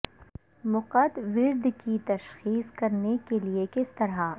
مقعد ودر کی تشخیص کرنے کے لئے کس طرح